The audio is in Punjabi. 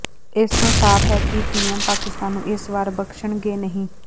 ਇਸ ਤੋਂ ਸਾਫ਼ ਹੈ ਕਿ ਪੀਏਮ ਪਾਕਿਸਤਾਨ ਨੂੰ ਇਸ ਵਾਰ ਬਖਸ਼ਣਗੇ ਨਹੀਂ